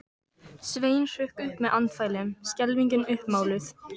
Sveinn hrökk upp með andfælum, skelfingin uppmáluð.